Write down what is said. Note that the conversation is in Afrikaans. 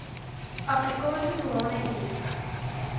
afrikaanse doeane unie